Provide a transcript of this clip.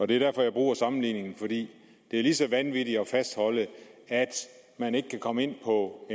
det er derfor jeg bruger sammenligningen for det er lige så vanvittigt at fastholde at man ikke kan komme ind på